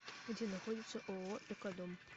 где находится ооо экодом